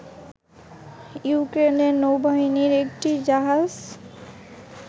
ইউক্রেনের নৌবাহিনীর একটি জাহাজ